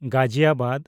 Ghaziabad